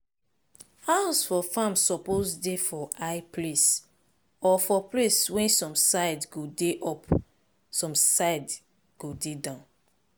house for farm suppose dey for high place or for place wey some side go dey up some dey go down.